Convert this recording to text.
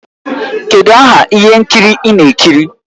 Kedụ aha ihe nkiri ị na-ekiri?